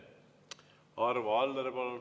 Arvo Aller, palun!